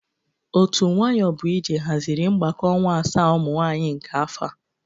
Otu nwayọbụije hazịrị mgbakọ ọnwa asaa ụmụ nwaanyị nke afọ a.